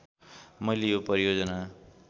मैले यो परियोजना